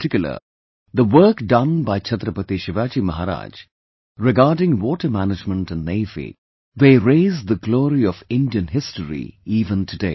In particular, the work done by Chhatrapati Shivaji Maharaj regarding water management and navy, they raise the glory of Indian history even today